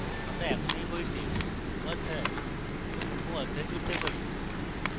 আমরা এখন we বইতে অধ্যায় এবং উপঅধ্যায় জুড়তে পারি